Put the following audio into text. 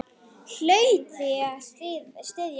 Hlaut því að styðja Lenu.